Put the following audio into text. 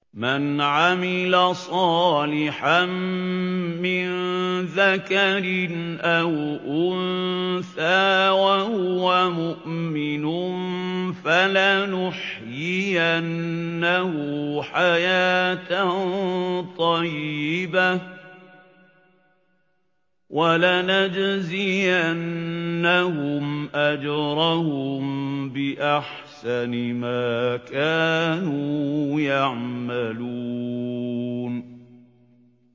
مَنْ عَمِلَ صَالِحًا مِّن ذَكَرٍ أَوْ أُنثَىٰ وَهُوَ مُؤْمِنٌ فَلَنُحْيِيَنَّهُ حَيَاةً طَيِّبَةً ۖ وَلَنَجْزِيَنَّهُمْ أَجْرَهُم بِأَحْسَنِ مَا كَانُوا يَعْمَلُونَ